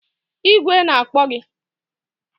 Igwe na-akpọ gị!